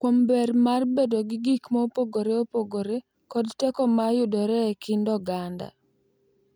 Kuom ber mar bedo gi gik mopogore opogore kod teko ma yudore e kind oganda,